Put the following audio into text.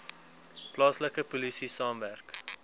plaaslike polisie saamwerk